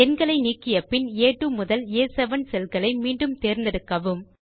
எண்களை நீக்கிய பின் ஆ2 முதல் ஆ7 செல்களை மீண்டும் தேர்ந்தெடுக்கவும்